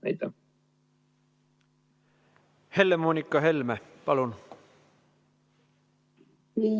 Helle-Moonika Helme, palun!